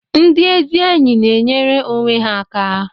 Ndị ezi enyi na-enyere onwe ha aka